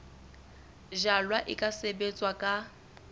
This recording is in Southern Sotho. jalwa e ka sebetswa ka